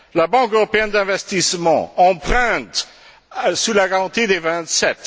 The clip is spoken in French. La Banque européenne d'investissement emprunte, sous la garantie des Vingt sept.